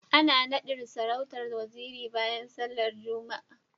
Ana nadin sarautar Waziri bayan sallar Juma'a